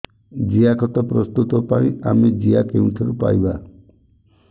ଜିଆଖତ ପ୍ରସ୍ତୁତ ପାଇଁ ଆମେ ଜିଆ କେଉଁଠାରୁ ପାଈବା